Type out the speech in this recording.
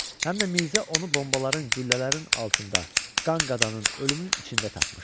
Həm də Mirzə onu bombaların, güllələrin altında, qan-qadanın, ölümün içində tapmışdı.